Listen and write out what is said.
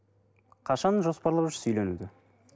қашан жоспарлап жүрсіз үйленуге